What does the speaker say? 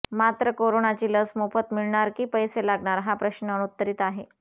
मात्र कोरोनाची लस मोफत मिळणार की पैसे लागणार हा प्रश्न अनुत्तरित आहे